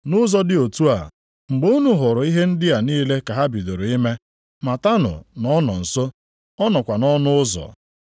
Nʼụzọ dị otu a, mgbe unu hụrụ ihe ndị a niile ka ha bidoro ime, matanụ na ọ nọ nso, ọ nọkwa nʼọnụ ụzọ.